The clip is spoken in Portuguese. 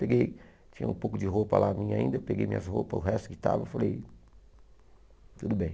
Peguei, tinha um pouco de roupa lá minha ainda, peguei minhas roupas, o resto que estava, falei, tudo bem.